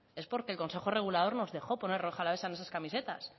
es porque el consejo regulador nos dejó poner rioja alavesa en esas camisetas